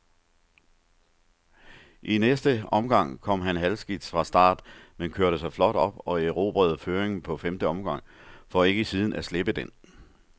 I næste omgang kom han halvskidt fra start, men kørte sig flot op og erobrede føringen på femte omgang, for ikke siden at slippe den.